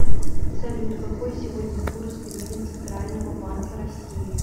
салют какой сегодня курс гривен центрального банка россии